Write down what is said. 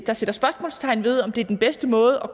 der sætter spørgsmålstegn ved om det er den bedste måde